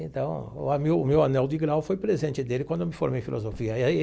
Então, o meu meu anel de grau foi presente dele quando eu me formei em filosofia e aí.